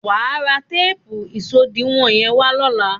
Wà á ra téèpù ìṣòdiwọ̀n yẹ́n wá lóla.